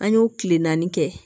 An y'o tile naani kɛ